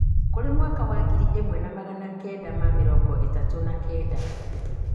kũrĩ mwaka wa ngiri ĩmwe na magana kenda ma mĩrongo ĩtatũ na kenda,